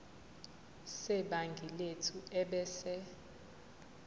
sebhangi lethu ebese